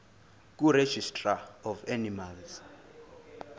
kuregistrar of animals